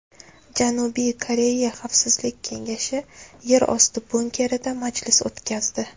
Janubiy Koreya xavfsizlik kengashi yerosti bunkerida majlis o‘tkazdi.